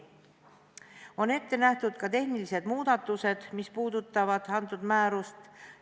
On ette nähtud ka tehnilised muudatused, mis puudutavad antud määrust.